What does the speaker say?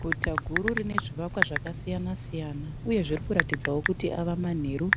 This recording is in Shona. Guta guru rine zvivakwa zvaka siyana siyana. Uye zviri kuratidzawo kuti ave manheru